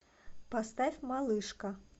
поставь малышка